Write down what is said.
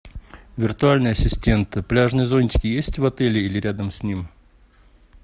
виртуальный ассистент пляжные зонтики есть в отеле или рядом с ним